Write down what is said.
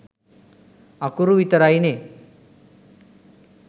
අකුරු විතරයිනේ.